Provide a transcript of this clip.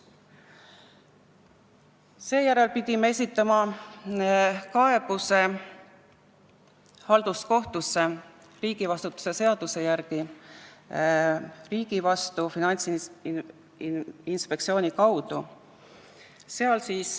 Seejärel pidime riigivastutuse seaduse järgi esitama halduskohtusse kaebuse riigi vastu Finantsinspektsiooni kaudu.